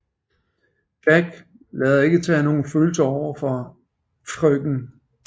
Jack lader ikke til at have nogle følelser over for Frk